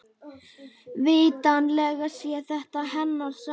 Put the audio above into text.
Vitanlega sé þetta hennar saga.